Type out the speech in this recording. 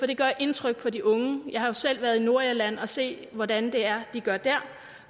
det gør indtryk på de unge jeg har selv været i nordirland og set hvordan det er de gør der